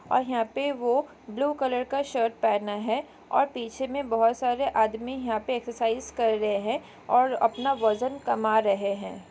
और यहाँ पे वो ब्लू कलर का शर्ट पहना है और पीछे में बहुत सारे आदमी यहाँ पर एक्सरसाइज कर रहे हैं और अपना वजन कमा रहे हैं।